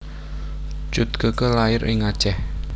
Cut Keke lair ing Aceh